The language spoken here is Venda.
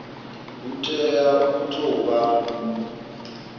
hu tea u tou vha